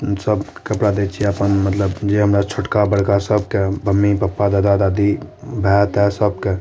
उम्म सब कपड़ा दे छै मतलब नजे हमरा छोटका बड़का सब के मम्मी पापा दादा दादी भाए तेए सबके।